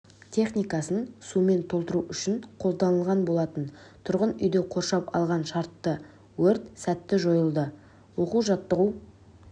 техникасын сумен толтыру үшін қолданылған болатын тұрғын үйді қоршап алған шартты өрт сәтті жойылды оқу-жаттығу